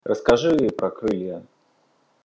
расскажи мне про крылья